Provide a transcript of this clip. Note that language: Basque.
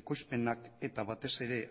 ekoizpenak eta batez ere